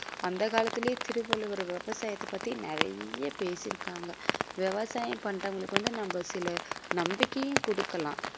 அந்த காலத்துலேயே திருவள்ளுவர் விவசாயத்தைப் பற்றி நிறைய பேசி இருக்காங்க விவசாயம் பண்றவங்களுக்கு வந்து நம்ம சில நம்பிக்கையும் குடுக்கலாம்.